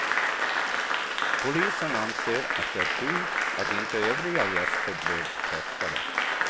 Polisen anser att det är tur att inte övriga gäster blev träffade.